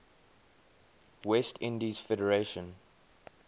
west indies federation